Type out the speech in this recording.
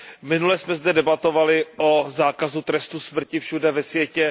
Minule jsme zde debatovali o zákazu trestu smrti všude ve světě.